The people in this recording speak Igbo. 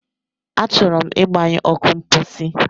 Achọrọ m ịgbanyụ ọkụ mposi.